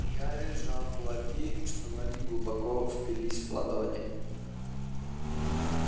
гарри сжал кулаки что ногти глубоко впились в ладони